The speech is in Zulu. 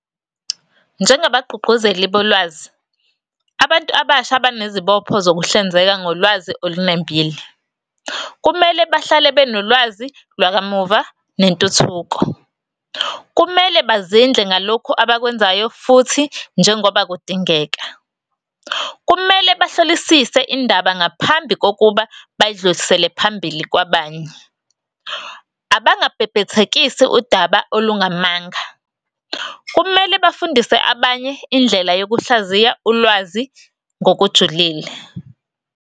Njengabagqugquzeli bolwazi, abantu abasha banezibopho zokuhlinzeka ngolwazi olunembile. Kumele bahlale benolwazi lwakamuva nentuthuko. Kumele bazindle ngalokhu abakwenzayo futhi, njengoba kudingeka. Kumele bahlolisise indaba ngaphambi kokuba bayidlulisele phambili kwabanye. Abangabhebhethekisi udaba olungamanga. Kumele bafundise abanye indlela yokuhlaziya ulwazi ngokujulile.